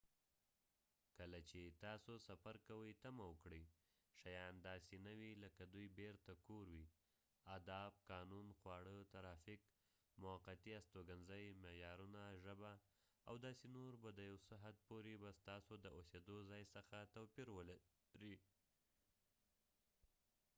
کله چې تاسو سفر کوئ تمه وکړئ شیان داسې نه وي لکه دوی بیرته کور وي آداب قانون خواړه ترافیک موقتی استوګنځی معیارونه ژبه او داسې نور به د یو څه حد پورې به ستاسو د اوسیدو ځای څخه توپیر ولرئ